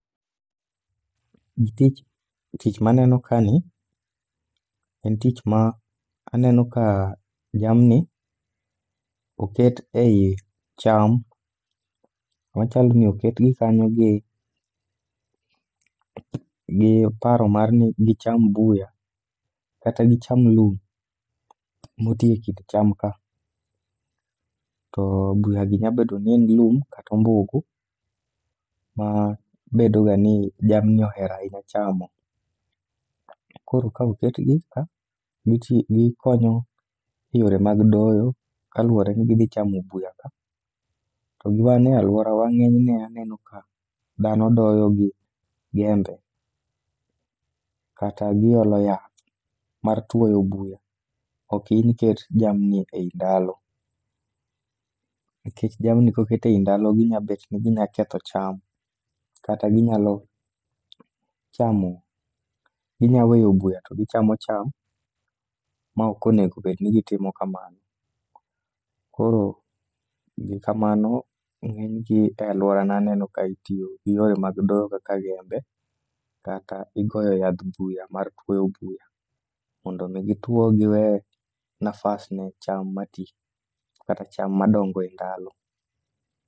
Gi tich tich maneno ka ni, en tich ma aneno ka jamni oket ei cham. Machalo ni oketgi kanyo gi, gi paro mar ni gicham buya, kata gicham lum moti e kind cham ka. To buyagi nyabedo ni en lum katombugu, ma bedo ga ni jamni oherahinya chamo. Koro ka oketgi ka, gikonyo e yore mag doyo kaluwore gi gidhi chamo buya ka. Togi wan e alworawa ng'enyne aneno ka dhano doyo gi gembe, kata giolo yath mar tuoyo buya. Ok in iket jamni ei ndalo, nikech jamni koket ei ndalo ginyabet ni ginyaketho cham. Kata ginyalo chamo, ginyaweyo buya to gichamo cham. ma ok onego obed ni gitimo kamano. Koro gi kamano, ng'enygi e alworana aneno ka itiyo gi yore mag doyo kaka jembe. Kata igoyo yadh buya mar twoyo buya, mondo mi gitwo giwe nafas ne cham mati kata cham madongo e ndalo.